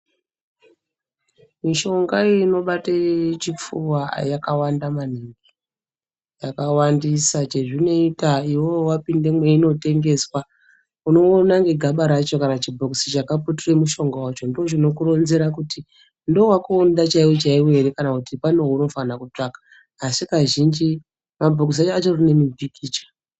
Mushonga inobate chipfuva yakawanda maningi yakawandisa chezvinoita iwewe wapinde mweinotengeswa unoona negaba rachona kana chibhokisi chakaputira mushonga wacho ndochinokuronzera kuti ndowako chaiwo chaiwo ere kana kuti pane waunofanira kutsvaka asi kazhinji mabhokisi panenge pane mupikicha.